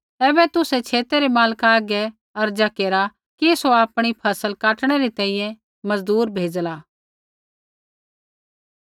ऐबै तुसै छेतै रै मालका हागै अर्ज़ा केरा कि सौ आपणी फ़सल काटणै री तैंईंयैं मज़दूर भेज़ला